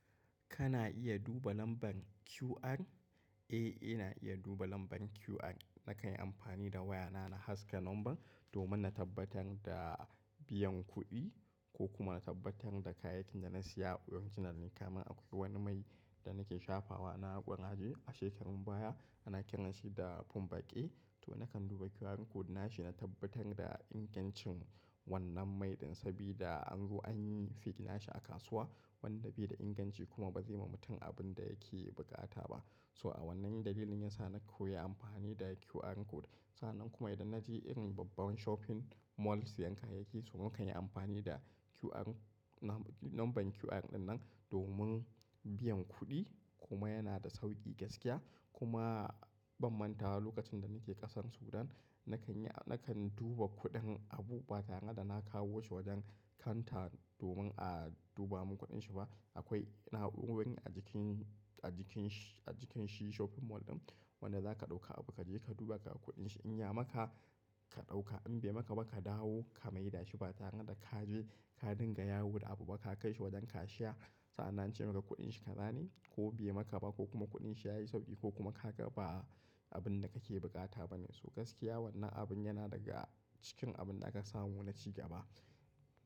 Kana iya duba lambar QR? Eh, ina iya duba lambar QR. Nakan yi amfani da wayana na haska lambar domin na tabbatar da biyan kuɗi ko kuma na tabbatar da kayakin da na saya a original ne. Kaman akwai wani mai da nake shafawa na ƙuraje a shekarun baya, ana kiran shi da Fumbaƙe. To nakan duba QR code nashi na tabbatar da ingancin wannan mai ɗin sabida anzo anyi fida shi a kasuwa. Wanda bai da inganci kuma ba zai ma mutum abin da yake buƙata ba. So a wannan dalilin yasa na koyi amfani da QR code. Sannan kuma idan na je irin babban shopping mall sayan kayaki so nakan yi amfani da QR lambar QR ɗinnan domin biyan kuɗi kuma yana da sauƙi gaskiya kuma bam manta lokacin da nake ƙasar Sudan nakan yi a-- nakan duba kuɗin abu ba tare da na kawo shi wajen kanta domin a duba mun kuɗin shi ba. Akwai ina habu'in a jikin, a jikin shi, a jikin shi shopping mall ɗin wanda zaka ɗauka abu kaje ka duba ka kuɗin shi in ya maka ka ɗauka in bai maka ba ka dawo ka mai da shi ba tare da kaje ka dinga yawo da abu ba ka kai shi wajen kashiya. Sa'annan ance maka kuɗin shi ka zane ko be maka ba ko kuma kuɗin shi yayi sauƙi ko kuma haka ba abin da kake buƙata bane. So gaskiya wannan abun yana daga cikin abin da aka samo na ci gaba.